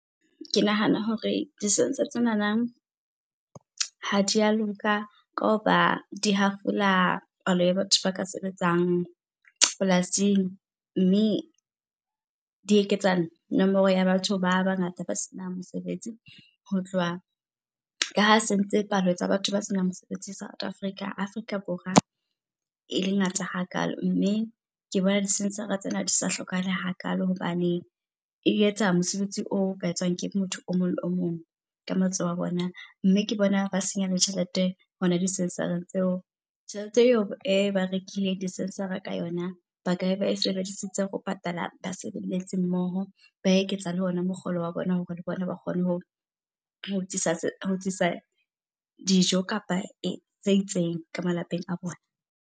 Ke nahana hore di-sensor tsenana, ha di a loka ka hoba di hafola palo ya batho ba ka sebetsang polasing, mme di eketsa nomoro ya batho ba bangata ba senang mosebetsi. Ho tloha, ka ha sentse palo tsa batho ba senang mosebetsi South Africa, Afrika Borwa e le ngata hakalo. Mme ke bona di-sensor-a tsena di sa hlokahale hakalo hobaneng e etsa mosebetsi o ka etswang ke motho o mong le o mong ka matsoho a bona mme ke bona ba senya le tjhelete hona di-sensor-eng tseo. Tjhelete eo e ba rekileng di-sensor-a ka yona ba ka be ba e sebedisitse ho patala basebeletsi mmoho, ba eketsa le ona mokgolo wa bona hore le bona ba kgone ho tlisa dijo kapa tse itseng ka malapeng a bona.